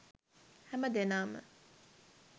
හැමදෙනාම